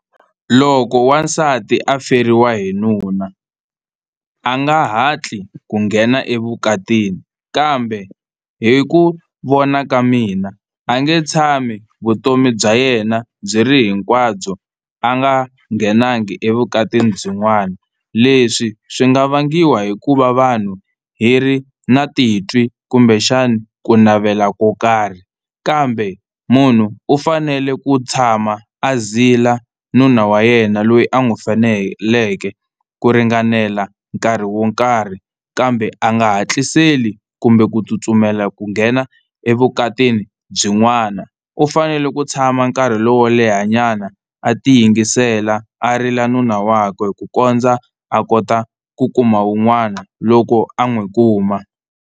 Loko n'wansati a feriwe hi nuna a nga hatli ku nghena evukatini, kambe hi ku vona ka mina a nge tshami vutomi bya yena byi ri hinkwabyo a nga nghenangi evukatini byin'wana, leswi swi nga vangiwa hikuva vanhu hi ri na titwi kumbexana ku navela ko karhi kambe munhu u fanele ku tshama a zila nuna wa yena loyi a n'wi feleke ku ringanela nkarhi wo nkarhi kambe a nga hatliseli kumbe ku tsutsumela ku nghena evukatini byin'wana. U fanele ku tshama nkarhi lowo lehanyana a tiyingisela a rila nuna wakwe ku kondza a kota ku kuma wun'wana loko a n'wi kuma.